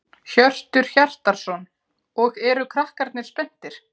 Hjörtur Hjartarson: Og eru krakkarnir spenntir?